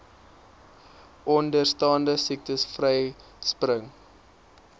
onderstaande siektes vryspring